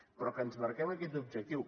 però que ens marquem aquest objectiu